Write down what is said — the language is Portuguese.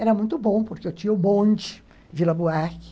Era muito bom, porque eu tinha o bonde, Vila Buarque.